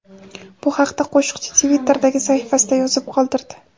Bu haqda qo‘shiqchi Twitter’dagi sahifasida yozib qoldirdi .